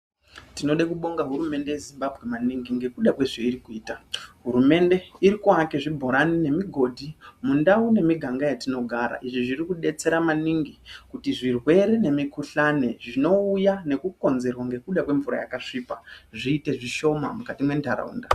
Tinode kubonga hurumende yeZimbambwe maningi ngekuda kwezveiri kuita. Hurumende irikuvake zvibhorani nemigodhi mundau nemiganga yatinogara. Izvi zviri kubetsera maningi kuti zvirwere nemikuhlani zvinouya nekukonzerwa nekuda kwemvura yakasvipa zviite zvishoma mukati muntaraunda.